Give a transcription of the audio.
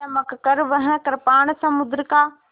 चमककर वह कृपाण समुद्र का